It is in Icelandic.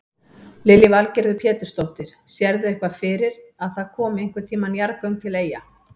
Lillý Valgerður Pétursdóttir: Sérðu eitthvað fyrir að það komi einhvern tíman jarðgöng til Eyja?